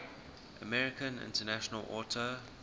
american international auto